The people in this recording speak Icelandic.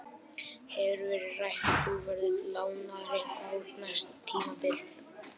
Hefur verið rætt að þú verðir lánaður eitthvað út næsta tímabil?